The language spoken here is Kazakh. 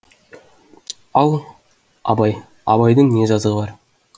ал абай абайдың не жазығы бар